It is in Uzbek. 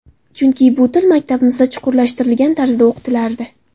Chunki bu til maktabimizda chuqurlashtirilgan tarzda o‘qitilardi.